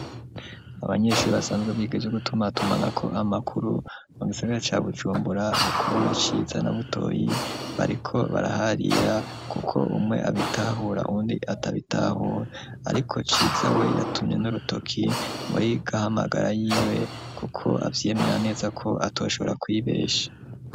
Abanyeshure basanzwe ivyo gutumatumana ko amakuru mu gisagara ca Bujumbura Gukorona Ciza na Butoyi bariko baraharira kuko umwe abitahura undi atabitahura ariko Ciza we yatumye n'urutoki muri gahamagara yiwe kuko avyemera neza ko atashobora kwibesha.